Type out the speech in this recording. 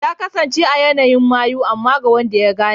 Ya kasance a yanayin mayu amma ga wanda ya gane.